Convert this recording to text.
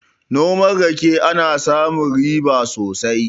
Noman rake ana samun riba sosai